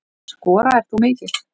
Skoraðir þú mikið?